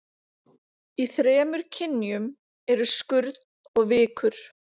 Í þremur kynjum eru skurn og vikur.